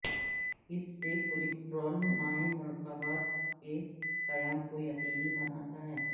اس سے کولیسٹرول مائع مرکبات کے قیام کو یقینی بناتا ہے